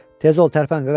Tez ol tərpən qaqaş!